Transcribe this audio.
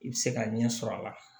I bɛ se ka ɲɛ sɔrɔ a la